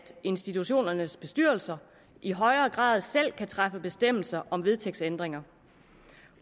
institutionernes bestyrelser i højere grad selv kan træffe bestemmelser om vedtægtsændringer